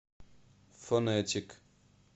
фонетик